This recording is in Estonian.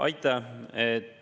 Aitäh!